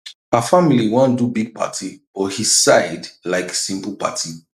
her family wan do big party but his side like simple party